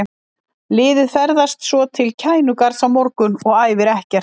Liðið ferðast svo til Kænugarðs á morgun og æfir ekkert.